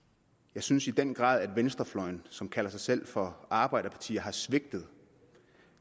jeg synes i den grad at venstrefløjen som kalder sig selv for arbejderpartier har svigtet